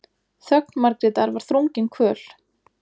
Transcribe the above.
Þögn Margrétar var þrungin kvöl.